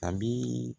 A bi